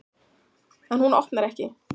En hún opnar ekki.